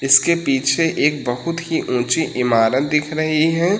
इसके पीछे एक बहुत ही ऊंची इमारत दिख रही है।